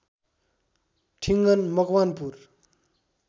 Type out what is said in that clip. Thingan Makwanpur